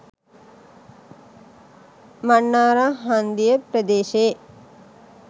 මන්නාරම් හන්දිය ප්‍රදේශයේ